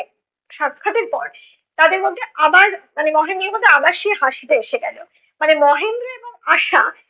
সাক্ষাৎ এর পর তাদের মধ্যে আবার মানে মহেন্দ্রর মধ্যে আবার সেই হাসিটা এসে গেলো। মানে মহেন্দ্র এবং আশা